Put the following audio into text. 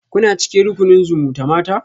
Kuna cikin rukunin zumutamata?